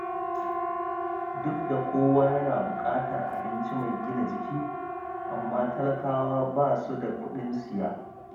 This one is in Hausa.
Duk da kowa yana buƙatar abinci mai gina jiki, amma talakawa ba su da kuɗin siya